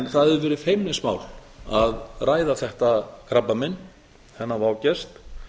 það hefur verið feimnismál að ræða þetta krabbamein þennan vágest